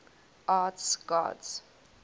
arts gods